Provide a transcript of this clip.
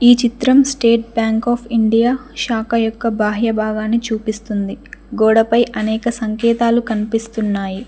ఈ చిత్రం State Bank of India శాఖ యొక్క బాహ్యభాగాన్ని చూపిస్తుంది గోడపై అనేక సంకేతాలు కనిపిస్తున్నాయి.